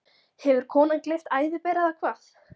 Hefur konan gleypt æðiber, eða hvað?